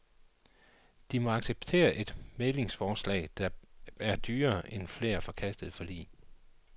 De måtte acceptere et mæglingsforslag, der er dyrere end flere forkastede forlig.